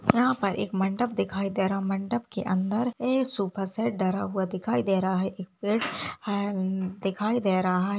यहां पर एक मंडप दिखाई दे रहा मंडप के अंदर एक सोफा सेट धरा हुआ दिखाई दे रहा है एक पेड़ है दिखाई दे रहा है।